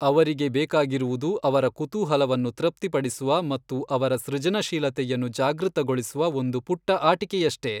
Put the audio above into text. ಅವರಿಗೆ ಬೇಕಾಗಿರುವುದು ಅವರ ಕುತೂಹಲವನ್ನು ತೃಪ್ತಿಪಡಿಸುವ ಮತ್ತು ಅವರ ಸೃಜನಶೀಲತೆಯನ್ನು ಜಾಗೃತಗೊಳಿಸುವ ಒಂದು ಪುಟ್ಟ ಆಟಿಕೆಯಷ್ಟೇ.